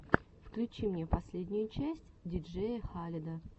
включи мне последнюю часть диджея халеда